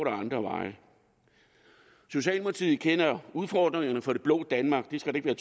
er andre veje socialdemokratiet kender udfordringerne for det blå danmark det skal der